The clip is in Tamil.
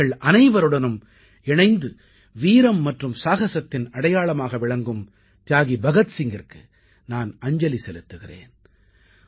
நாட்டுமக்கள் அனைவருடனும் இணைந்து வீரம் மற்றும் சாகசத்தின் அடையாளமாக விளங்கும் தியாகி பகத்சிங்கிற்கு நான் அஞ்சலி செலுத்துகிறேன்